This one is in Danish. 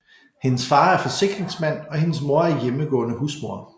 Hendes far er forsikringsmand og hendes mor er hjemmegående husmor